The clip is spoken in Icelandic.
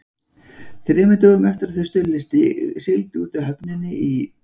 Þremur dögum eftir að þau Stulli sigldu út úr höfninni í